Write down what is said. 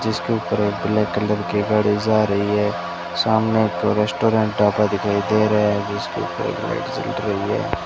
जिसके ऊपर black colour की गाड़ी जा रही है सामने तो रेस्टोरेंट ढाबा दिखाई दे रहा है जिसके ऊपर लाइट जल रही है।